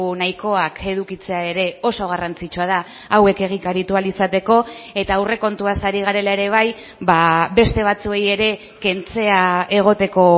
nahikoak edukitzea ere oso garrantzitsua da hauek egikaritu ahal izateko eta aurrekontuaz ari garela ere bai beste batzuei ere kentzea egoteko